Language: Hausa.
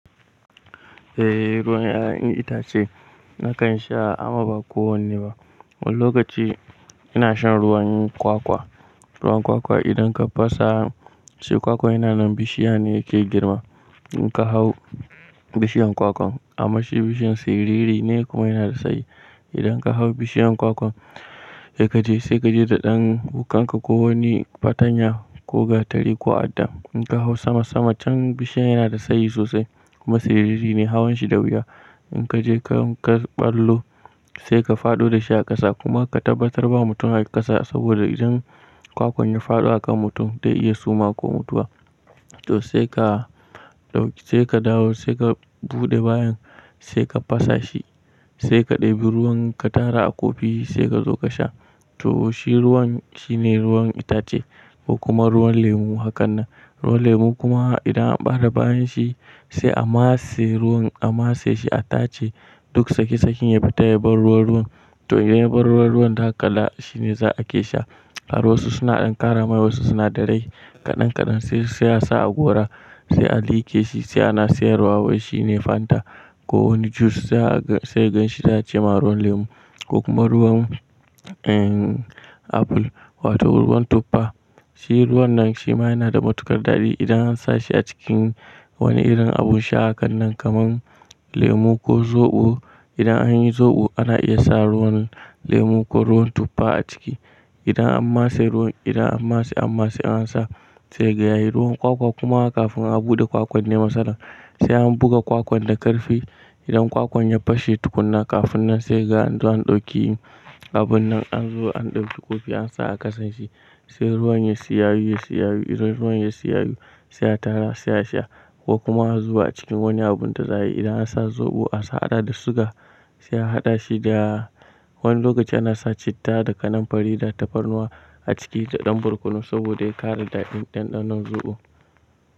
Eh ruwan ƴaƴan itace nakan sha amma ba kowanne ba. Wani lokaci ina shan ruwan kwakwa. Ruwan kwakwa idan ka fasa, sai kwakwan yana nan bishiya ne yake girma. In ka hau bishiyan kwakwan amma shi bishiyan siriri ne kuma yana da tsayi. Idan ka hau bishiyan kwakwan, sai kaje sai kaje da ɗan wukanka ko wani fatanya ko gatari ko adda. In ka hau sama sama can bishiyan yana da tsayi sosai kuma siriri ne hawan shi da wuya. In kaje ka ɓallo sai ka faɗo da shi a ƙasa kuma ka tabbatar ba mutum a ƙasa saboda idan kwakwan ya faɗo akan mutum zai iya suma ko mutuwa. To sai ka dawo sai ka buɗe bayan sai ka fasa shi, sai ka ɗebi ruwan ka tara a kofi sai ka zo ka sha. To shi ruwan shine ruwan itace ko kuma ruwan lemu hakan nan. Ruwan lemu kuma idan an ɓare bayan shi sai an matse ruwan a matse shi a tace duk tsaki tsakin ya fita ya bar ruwan ruwan. To inda ya bar ruwa ruwan zaka kalla shi ne za a ke sha. A ruwa suna ɗan ƙaramai wasu sinadarai kaɗan kaɗan sai sai a sa a gora sai a liƙe shi sai ana siyarwa wai shi ne Fanta ko wani jus sai ka ganshi sai ace ma ruwar lemu. Ko kuma ruwan apple wato ruwan tuffa. Shi ruwan nan shi ma yana da matuƙar daɗi idan an sa shi a cikin wani irin abun sha hakan nan kaman lemu ko zoɓo. Idan an yi zoɓo ana iya sa ruwan lemu ko ruwan tuffa a ciki. Idan an matse an matse an sa sai ka ga yayi ruwan kwakwa kuma kafin a buɗe kwakwan ne matsalar. Sai an buga kwakwan da ƙarfe idan kwakwan ya fashe tukunna kafin nan sai kaga an zo an ɗauki abun nan an zo an ɗauki kofi an sa a ƙasan shi. Sai ruwan ya tsiyayu yi tsiyayu idan ruwan ya tsiyayu sai a tara sai a sha ko kuma a zuba a cikin wani abun da za a yi. Idan an sa zoɓo a sa hada da suga sai a hada shi da wani lokaci ana sa citta da kananfari da tafarnuwa a ciki da ɗan barkonu saboda ya ƙara daɗin ɗanɗanon zoɓo.